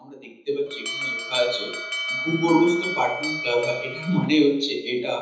আমরা দেখতে পাচ্ছি এখানে লেখা আছে ভূগর্ভস্থ পার্কিং প্লাজা । এটার মানে হচ্ছে এটা